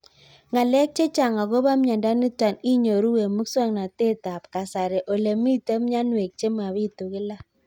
Ng'alek chechang' akopo miondo nitok inyoru eng' muswog'natet ab kasari ole mito mianwek che mapitu kila